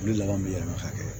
Olu laban bɛ yɛlɛma hakɛ ye